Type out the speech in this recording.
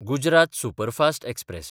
Gujarat superfast express